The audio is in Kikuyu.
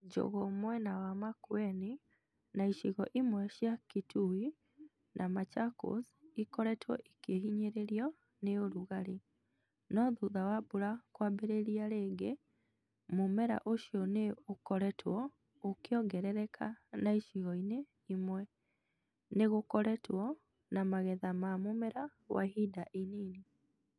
Njũgũ mwena wa Makueni na icigo imwe cia Kitui na Machakos ikoretwo ikĩhinyĩrĩrio nĩ ũrugarĩ, no thutha wa mbura kwambĩrĩria rĩngĩ, mũmera ũcio nĩ ũkoretwo ũkĩongerereka na icigo-inĩ imwe, nĩ gũkoretwo na magetha ma mũmera wa ihinda inini.